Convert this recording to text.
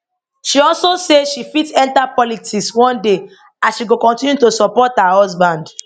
she also say she fit enta politics one day as she go continue to support her husband